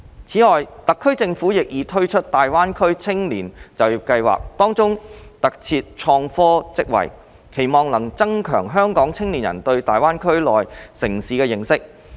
此外，特區政府亦已推出大灣區青年就業計劃，當中特設創科職位，期望能增強香港青年人對大灣區內地城市的認識。